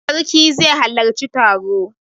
Sarki zai halarci taro.